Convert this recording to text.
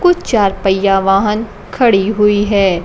कुछ चार पहिया वाहन खड़ी हुई है।